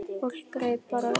Fólk greip bara í tómt.